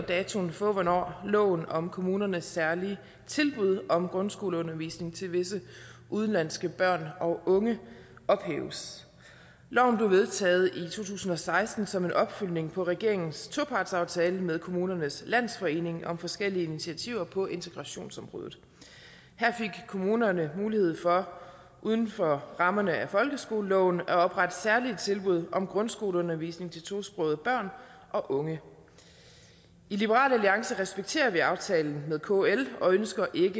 datoen for hvornår loven om kommunernes særlige tilbud om grundskoleundervisning til visse udenlandske børn og unge ophæves loven blev vedtaget i to tusind og seksten som en opfølgning på regeringens topartsaftale med kommunernes landsforening om forskellige initiativer på integrationsområdet her fik kommunerne mulighed for uden for rammerne af folkeskoleloven at oprette særlige tilbud om grundskoleundervisning til tosprogede børn og unge i liberal alliance respekterer vi aftalen med kl og ønsker ikke